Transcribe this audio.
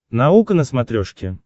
наука на смотрешке